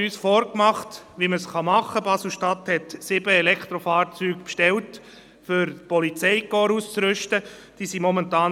Deshalb wird es in unserer Fraktion Gegenstimmen geben.